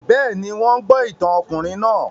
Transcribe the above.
Bẹ́ẹ̀ ni, wọ́n ń gbọ́ ìtàn ọkùnrin náà